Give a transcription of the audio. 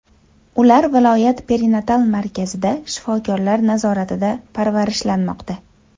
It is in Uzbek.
Ular viloyat perinatal markazida shifokorlar nazoratida parvarishlanmoqda.